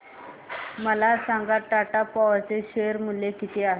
मला सांगा टाटा पॉवर चे शेअर मूल्य किती आहे